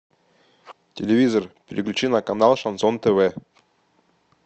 телевизор переключи на канал шансон тв